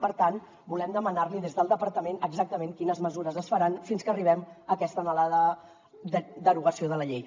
per tant volem demanar li des del departament exactament quines mesures es faran fins que arribem a aquesta anhelada derogació de la llei